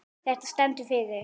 Þetta stendur fyrir